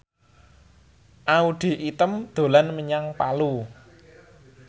Audy Item dolan menyang Palu